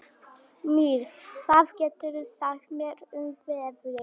Mír, hvað geturðu sagt mér um veðrið?